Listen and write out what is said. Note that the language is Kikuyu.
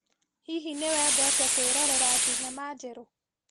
Hihi nĩwendete kwĩrorera thinema njerũ?